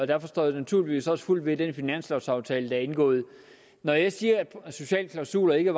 derfor står jeg naturligvis også fuldt ved den finanslovaftale der er indgået når jeg siger at sociale klausuler ikke